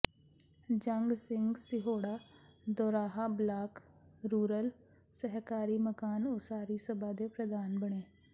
ਜੰਗ Singh Sihora Doraha block rural ਸਹਿਕਾਰੀ ਮਕਾਨ ਉਸਾਰੀ ਸਭਾ ਦੇ ਪ੍ਰਧਾਨ ਬਣੇ